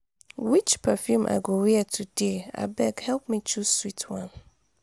which perfume i go wear today? abeg help me choose sweet one